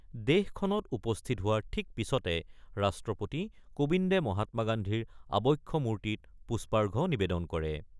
দেশখনত উপস্থিত হোৱাৰ ঠিক পিছতে ৰাষ্ট্ৰপতি কোবিন্দে মহাত্মা গান্ধীৰ আবক্ষ মূৰ্তিত পুষ্পাৰ্ঘ নিবেদন কৰে।